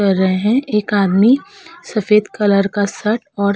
कर रहे हैं। एक आदमी सफेद कलर का शर्ट और --